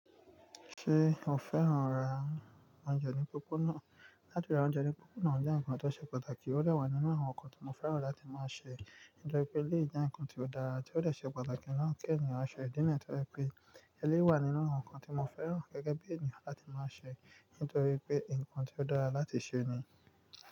Ṣé o fẹ́ran ra oúnjẹ ní pópónà? Látọ̀ náà oúnjẹ ní pópónà jẹ́ ǹkan tó ṣe pàtàkì, ó wà nínú àwọn ǹkan tí mo fẹ́ran láti máa ṣe. Nítorí pé elé jẹ́ ǹkan tó dára tí ó lè ṣe pàtàkì lọ́wọ́ kí ènìyàn ṣọ́ ẹ̀dínà nítorí pé elé wà nínú àwọn ǹkan tí mo fẹ́ran gẹ́gẹ́ bí ènìyàn láti máa ṣe. Nítorí pé ǹkan tí ó dára láti ṣe ni.